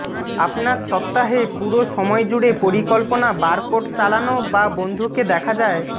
আপনার সপ্তাহে পুরো সময় জুড়ে পরিকল্পনা বারকোড চালানো বা বন্ধুকে দেখা যায়